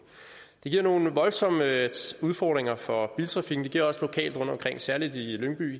det giver nogle voldsomme udfordringer for biltrafikken det giver også lokalt rundtomkring særlig i lyngby